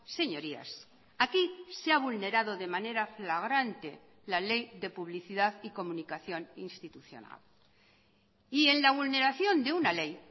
señorías aquí se ha vulnerado de manera flagrante la ley de publicidad y comunicación institucional y en la vulneración de una ley